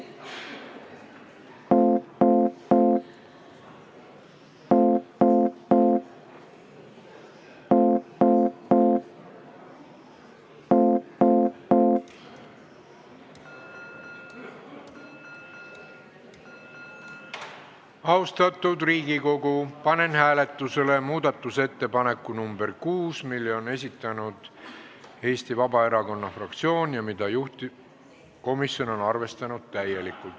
Austatud Riigikogu, panen hääletusele muudatusettepaneku nr 6, mille on esitanud Eesti Vabaerakonna fraktsioon ja mida juhtivkomisjon on täielikult arvestanud.